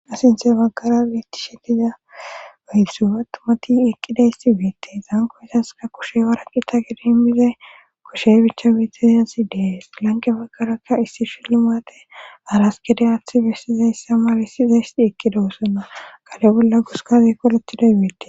Asinthe baggara beettishetiza beilsu attumati eqqidayssi weette zaankoesaska kushe waraqi ta gedi immizay kushe bicha beetizazi dees lanqe baggarakka issi shilu maate araskede aaththi bessizayssa mawissizaysi eqqida wosonna qale bolla guskazikkolettiday weette.